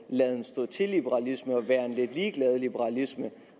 laden stå til liberalisme og være lidt ligeglad liberalisme